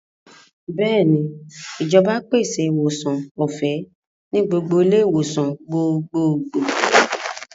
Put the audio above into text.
Bẹ́ẹ̀ni, ìjọba pèsè ìwòsàn ọ̀fẹ́ ní gbogbo ilé-ìwòsàn gbogbogbò.